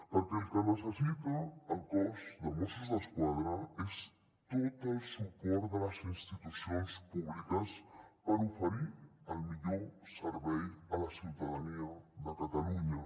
perquè el que necessita el cos de mossos d’esquadra és tot el suport de les institucions públiques per oferir el millor servei a la ciutadania de catalunya